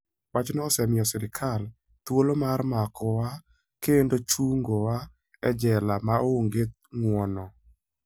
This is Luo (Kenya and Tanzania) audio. Wachno osemiyo sirkal thuolo mar makowa kendo chungowa e jela ma onge ng'wono.